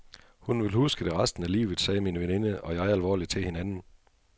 Hun vil huske det resten af livet, sagde min veninde og jeg alvorligt til hinanden.